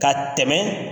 Ka tɛmɛ